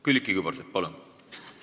Külliki Kübarsepp, palun!